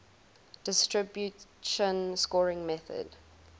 distribution scoring method